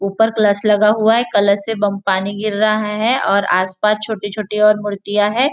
ऊपर कलश लगा हुआ है कलश से बम पानी गिर रहा है और आसपास छोटी छोटी और मूर्तियाँ है।